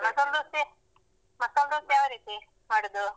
ಮಸಾಲ್ ದೋಸೆ ಮಸಾಲ್ ದೋಸೆ ಯಾವ ರೀತಿ ಮಾಡುದು?